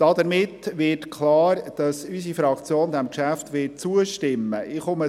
Damit wird klar, dass unsere Fraktion diesem Geschäft zustimmen wird.